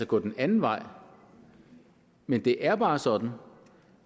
gå den anden vej men det er bare sådan